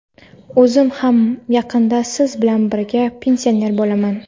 O‘zim ham yaqinda siz bilan birga pensioner bo‘laman.